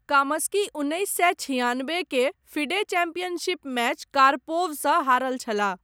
कामस्की उन्नैस सए छिआनबे के फिडे चैम्पियनशिप मैच कार्पोवसँ हारल छलाह ।